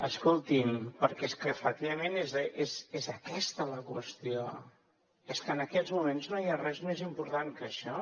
escoltin perquè és que efectivament és aquesta la qüestió és que en aquests moments no hi ha res més important que això